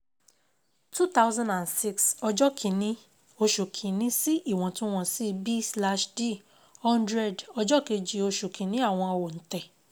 two thousand and six ọjọ́ kín-ní oṣù kín-ní sí ìwọ̀ntun wọ̀nsi b slach d hundred ọjọ́ kejì oṣù kín-ní àwọn òǹtẹ̀